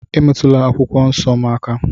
Emetụla akwụkwọ nsọ m aka